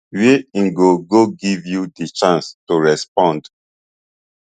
wey im go go give you di chance to respond